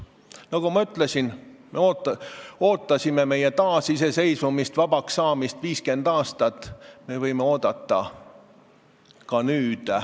Nagu ma ütlesin, me ootasime meie taasiseseisvumist, vabaks saamist 50 aastat ja me võime oodata ka nüüd.